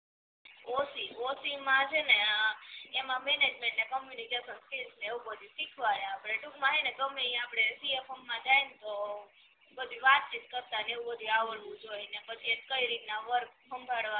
ઑ સી માં છે ને એમા મેનેજમેન્ટ ને કમ્યુનિકેસન સ્કિલ ને એવું બધુ શીખવાડે અપડે ટુંકમાં સે ને ગમે ય આપડે સી એ માં જાઈન તો બધુ વાતચીત કરતાં ને એવું બધુ આવડવું જોઈ અને પછી કઈ રીતના વર્ક સાંભડવાનું